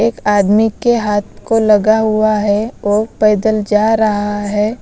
एक आदमी के हाथ को लगा हुआ है और पैदल जा रहा है।